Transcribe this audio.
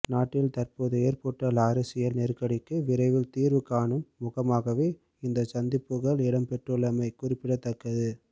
நாட்டில் தற்போது ஏற்பட்டுள்ள அரசியல் நெருக்கடிக்கு விரைவில் தீர்வு காணும் முகமாகவே இந்த சந்திப்புக்கள் இடம்பெறவுள்ளமை குறிப்பிடத்தக்கது